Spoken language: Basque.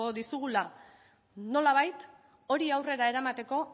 dizugula nolabait hori aurrera eramateko